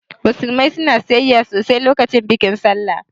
Musulmai na sayayya sosai lokacin bikin sallah